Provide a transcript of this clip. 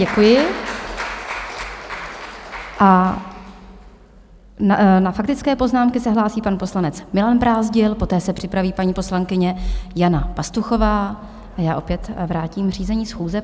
Děkuji a na faktické poznámky se hlásí pan poslanec Milan Brázdil, poté se připraví paní poslankyně Jana Pastuchová a já opět vrátím řízení schůze.